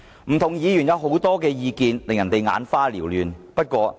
不同議員也提出很多意見，令人眼花撩亂。